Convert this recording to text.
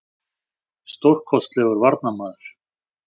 Stórkostlegur varnarmaður.